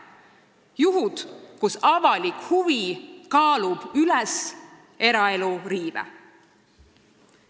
Need on juhud, kus avalik huvi kaalub üles eraelu riive.